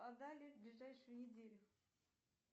отдали в ближайшую неделю